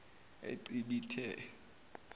ecibithe